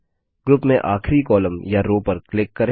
group में आखरी column या रो पर क्लिक करें